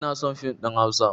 Inason fim ɗin hausa